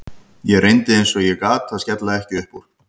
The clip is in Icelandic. Ég reyndi eins og ég gat að skella ekki upp úr.